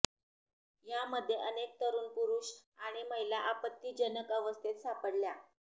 यामध्ये अनेक तरुण पुरुष आणि महिला आपत्तिजनक अवस्थेत सापडल्या